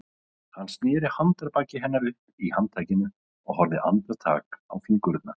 Hann sneri handarbaki hennar upp í handtakinu og horfði andartak á fingurna.